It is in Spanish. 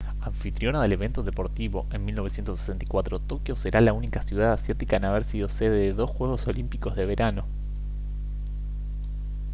anfitriona del evento deportivo en 1964 tokio será la única ciudad asiática en haber sido sede de dos juegos olímpicos de verano